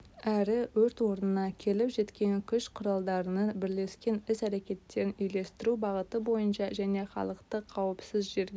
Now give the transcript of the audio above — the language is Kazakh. әрі өрт орнына келіп жеткен күш-құралдарының бірлескен іс-әрекеттерін үйлестіру бағыты бойынша және халықты қауіпсіз жерге